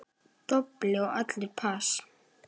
Dobl og allir pass.